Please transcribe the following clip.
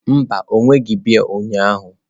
Mba, o wereghị biya ụnyahụ.